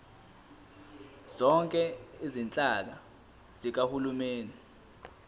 zonke izinhlaka zikahulumeni